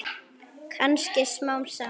Kannski smám saman.